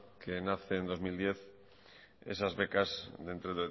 que nace en el dos mil diez esas becas dentro de